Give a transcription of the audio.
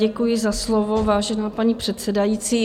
Děkuji za slovo, vážená paní předsedající.